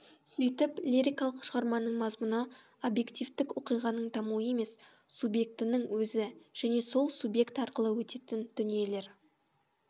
сөйтіп лирикалық шығарманың мазмұны объективтік оқиғаның дамуы емес субъектінің өзі және сол субъект арқылы өтетін дүниелер